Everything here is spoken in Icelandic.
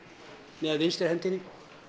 með vinstri hendinni